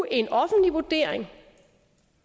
en offentlig vurdering